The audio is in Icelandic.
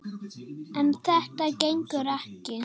En þetta gengur ekki!